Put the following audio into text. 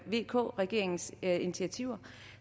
vk regeringens initiativer